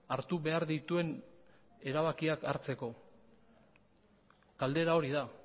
hartu behar dituen erabakiak hartzeko galdera hori da